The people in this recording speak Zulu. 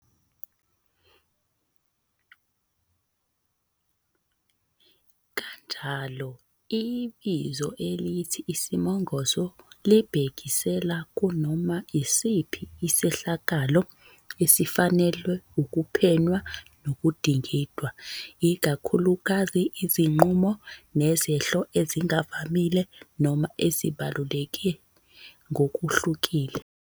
Kanjalo, ibizo elithi isimongotho libhekisela kunoma isiphi isehlakalo esifanelwe ukuphenywa nokudingidwa, ikakhulukazi izinqubo nezehlo ezingavamile noma ezibaluleke ngokuhlukile.